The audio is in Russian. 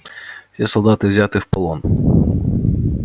все солдаты взяты в полон